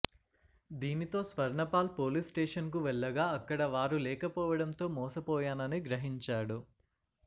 దీనితో స్వర్ణపాల్ పోలీస్స్టేషన్కు వెళ్లగా అక్కడ వారు లేకపోవడంతో మోసపోయానని గ్రహించాడు